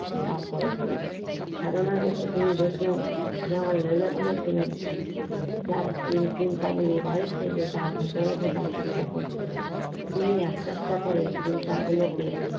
লাভ করেছিলেন সাধনাই বসে তিনি দেখে মনে মনে তিনি তার চিন্তা গুলো বাহির থেকে ভেতরে ঢোকার চেষ্টা করছে তিনি একটা একটা করে চিন্তা গুলকে লাভ করেছিলেন